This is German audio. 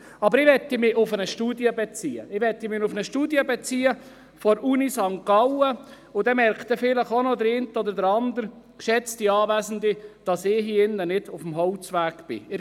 Ich beziehe mich auf eine Studie der Universität St. Gallen, damit der eine oder andere hier im Saal doch noch merkt, dass ich mich nicht auf dem Holzweg befinde.